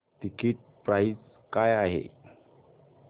ticket price काय आहे